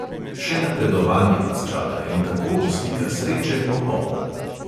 Še napredovanje vas čaka in tako bo slika sreče popolna.